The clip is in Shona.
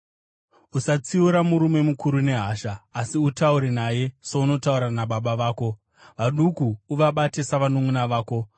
Usatsiura murume mukuru nehasha, asi utaure naye sounotaura nababa vako. Vaduku uvabate savanunʼuna vako.